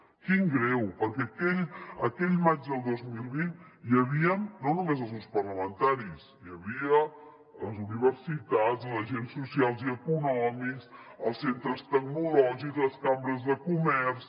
quin greu perquè aquell maig del dos mil vint hi havia no només els grups parlamentaris hi havia les universitats els agents socials i econòmics els centres tecnològics les cambres de comerç